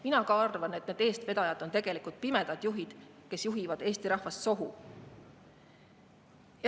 Mina arvan, et need eestvedajad on tegelikult pimedad juhid, kes juhivad Eesti rahvast sohu.